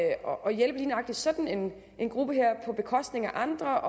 hjælpe lige nøjagtig sådan en gruppe her på bekostning af andre